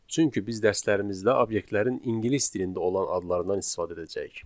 çünki biz dərslərimizdə obyektlərin ingilis dilində olan adlarından istifadə edəcəyik.